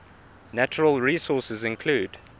natural resources include